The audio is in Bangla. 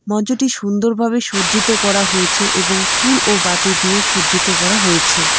মঞ্চটি সুন্দরভাবে সজ্জিত করা হয়েছে এবং ফুল ও বাতি দিয়ে সজ্জিত করা হয়েছে।